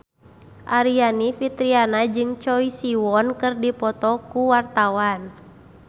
Aryani Fitriana jeung Choi Siwon keur dipoto ku wartawan